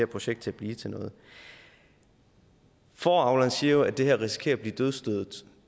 projekt til at blive til noget fåreavleren siger jo at det her risikerer at blive dødsstødet